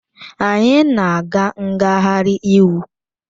Anyị na-aga ngagharị iwu